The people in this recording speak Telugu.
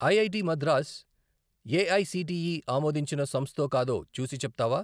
ఐఐటి మద్రాస్ ఏఐసిటిఈ ఆమోదించిన సంస్థో కాదో చూసి చెప్తావా?